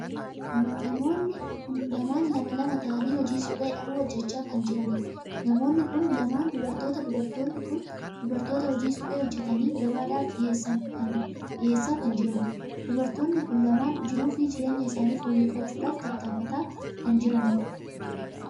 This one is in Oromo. Namoonni kun lamaan lama ta'anii hojii suphee dhahuu hojjechaa kan jiraniidha. namoonni kun lamaan dubartoota. dubartoonni kun dubartoota hojii suphee hojjetanii gabaadhaaf dhiheessaa kan jiraniidha. dubartoonni kun lamaan jiruu fi jireenya isaanii fooyyeffachuudhaaf tattafataa kan jiraniidha.